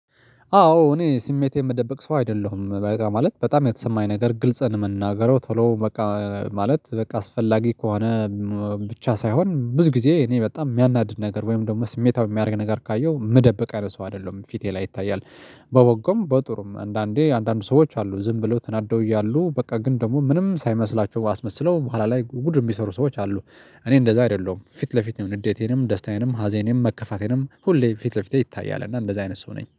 አዎ እኔ ስሜቴን የምደብቅ ሰው አይደለሁም በቃ ማለት በጣም የተሰማኝ ነገር ግልጽን ምናገረው ቶሎ በቃ ማለት በቃ አስፈላጊ ከሆነ ብቻ ሳይሆን ብዙ ጊዜ እኔ በጣም የሚያናድድ ነገር ወይም ደግሞ ስሜታዊ የሚያደርግ ነገር ካየሁ ምደብ ቅ ሰው አይደለሁም ፊቴ ላይ ይታያል። በወጉም በጥሩም አንዳንዴ አንዳንድ ሰዎች አሉ ዝም ብለው ተናደው እያሉ በቃ ግን ደግሞ ምንም ሳይመስላቸው አስመስለው በኋላ ላይ ጉድ የሚሰሩ ሰዎች አሉ። እኔ እንደዛ አይደለሁም ፊት ለፊት ንዴቴንም ደስታዬንም ሀዜንም መከፋቴንም ሁሌ ፊት ለፊቴ ይታያል እና እንደዛ አይነት ሰው ነኝ